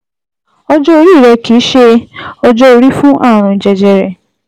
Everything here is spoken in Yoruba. Ọjọ́ orí rẹ kìí ṣe ọjọ́ orí fún ààrùn jẹjẹrẹ